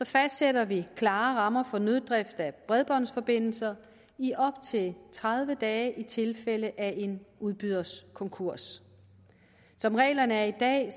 fastsætter vi klare rammer for nøddrift af bredbåndsforbindelser i op til tredive dage i tilfælde af en udbyders konkurs som reglerne er i dag